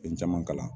Fɛn caman kalan